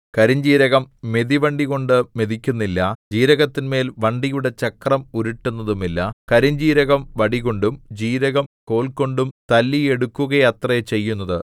കരിഞ്ജീരകം മെതിവണ്ടികൊണ്ടു മെതിക്കുന്നില്ല ജീരകത്തിന്മേൽ വണ്ടിയുടെ ചക്രം ഉരുട്ടുന്നതുമില്ല കരിഞ്ജീരകം വടികൊണ്ടും ജീരകം കോൽകൊണ്ടും തല്ലിയെടുക്കുകയത്രേ ചെയ്യുന്നത്